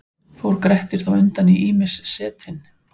Fór Grettir þá undan í ýmis setin.